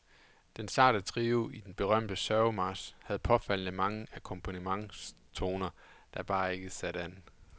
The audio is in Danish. Den sarte trio til den berømte sørgemarch havde påfaldende mange akkompagnentstoner, der bare ikke satte an.